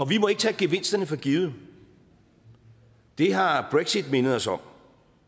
vi må ikke tage gevinsterne for givet det har brexit mindet os om